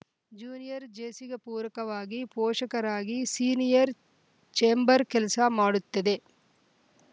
junior ಜೇಸಿಗೆ ಪೂರಕವಾಗಿ ಪೋಷಕರಾಗಿ ಸೀನಿಯರ್‌ ಛೇಂಬರ್‌ ಕೆಲಸ ಮಾಡುತ್ತದೆ